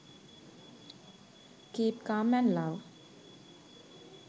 keep calm and love...